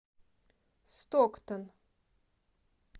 стоктон